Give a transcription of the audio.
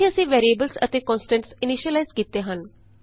ਇਥੇ ਅਸੀਂ ਵੈਰੀਐਬਲਸ ਅਤੇ ਕੋਨਸਟੈਂਟਸ ਇਨੀਸ਼ਿਲਾਈਜ਼ ਕੀਤੇ ਹਨ